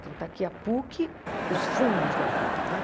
Então, está aqui a PUC, os fundos da PUC, né?